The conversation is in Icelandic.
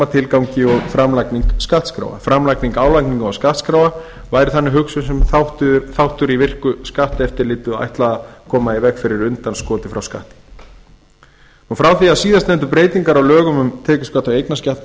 tilgangi og framlagning skattskráa framlagning álagningar og skattskráa væri þannig hugsuð sem þáttur í virku skatteftirliti og ætlað að koma í veg fyrir undanskot frá skatti frá því að síðastnefndu breytingarnar á lögum um tekjuskatt og eignarskatt